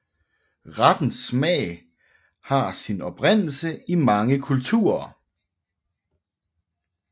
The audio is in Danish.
Rettens smag har sin oprindelse i mange kulturer